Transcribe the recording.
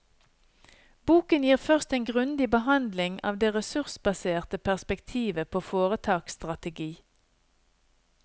Boken gir først en grundig behandling av det ressursbaserte perspektivet på foretaksstrategi.